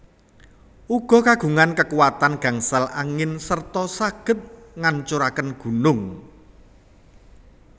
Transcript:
Uga kagungan kekuatan gangsal angin serta saged ngancuraken gunung